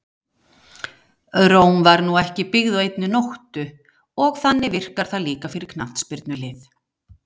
Róm var nú ekki byggð á einni nóttu og þannig virkar það líka fyrir knattspyrnulið.